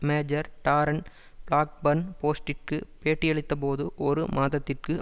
major Darren Blackburn போஸ்ட்டிற்கு பேட்டியளித்தபோது ஒரு மாதத்திற்கு